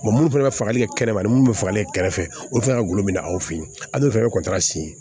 minnu fana falenlen kɛrɛma ni minnu bɛ fagalen kɛrɛfɛ olu kan ka golo minɛ aw fɛ yen an bɛ fɛɛrɛ